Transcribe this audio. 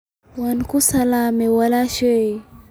wa ku salamay walaashay